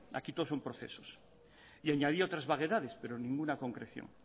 aquí todo son procesos y añadió otras vaguedades pero ninguna concreción